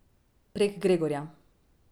Prek Gregorja.